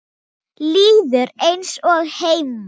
Líður eins og heima.